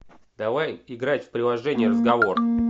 давай играть в приложение разговор